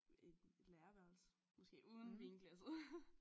Et læreværelse måske uden vinglasset